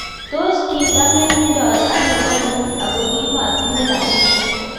Tos kitamengdoi anoo konyun Ako kimaatinye rapisiek